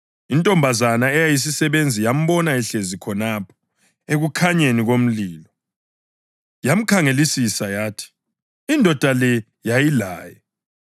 Intombazana eyisisebenzi yambona ehlezi khonapho ekukhanyeni komlilo. Yamkhangelisisa yathi, “Indoda le yayilaye.”